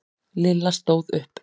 Lilla stóð upp.